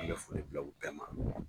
An bɛna foli bila u bɛɛ ma.